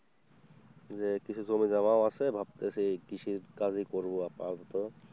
যে কিছু জমি জমা আছে ভাবতেছি কৃষি কাজই করবো আপাতত।